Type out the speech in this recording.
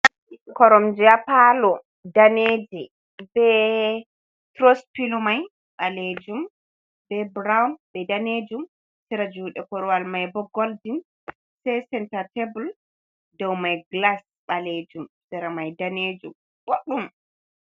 Koromje ha Palo, Daneje be Turuspilo mai Ɓalejum, be Brown be Danejum, Sira Jude Korowal mai bo Goldin, Sei Senta Tebul Doumai Glas Ɓalejum Sera mai Danejum Bodɗum.